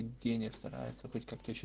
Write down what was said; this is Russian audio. евгения старается хоть как-то ещё